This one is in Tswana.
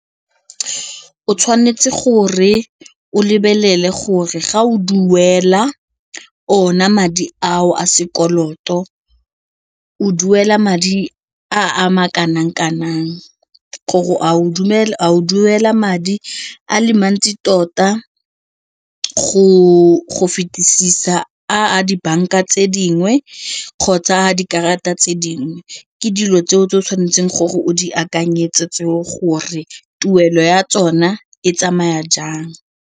O tshwanetse gore o lebelele gore ga o duela ona madi ao a sekoloto o duela madi a a ma kanang kanang gore a o duela madi a le mantsi tota go fetisisa a dibanka tse dingwe kgotsa a dikarata tse dingwe ke dilo tseo tse o tshwanetseng gore o di akanyetse tseo gore tuelo ya tsona e tsamaya jang.